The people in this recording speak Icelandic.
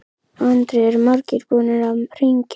Andri: Eru margir búnir að hringja?